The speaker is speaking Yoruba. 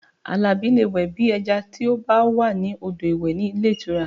Alabi lè wẹ̀ bí ẹja tí ó bá wà ní odò ìwẹ̀ ní ilé ìtura